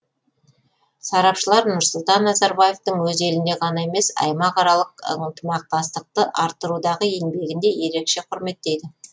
сарапшылар нұрсұлтан назарбаевтың өз елінде ғана емес аймақаралық ынтымақтастықты арттырудағы еңбегін де ерекше құрметтейді